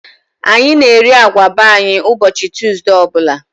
Anyị na eri agwa be anyị ụbọchị Tọzdee ọbụla